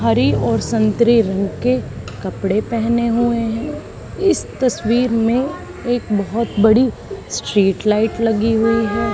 हरे और संतरी रंग के कपड़े पहने हुए हैं इस तस्वीर में एक बहुत बड़ी स्ट्रीट लाइट लगी हुई है।